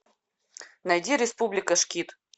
найди республика шкид